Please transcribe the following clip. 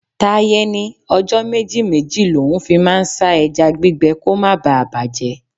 Taiye ní ọjọ́ méjì-méjì l'oun fi máa ń sá ẹja gbígbẹ kó má bà bàjẹ́.